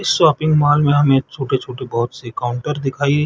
इस shopping mall में हमें छोटे - छोटे बहुत से काउंटर दिखाई --